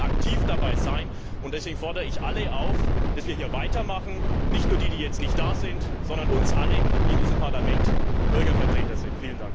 Wir müssen aktiv dabei sein und ich fordere daher alle auf, dass wir hier weitermachen nicht nur die, die jetzt nicht hier sind, sondern uns alle, die in diesem Parlament Bürgervertreter sind!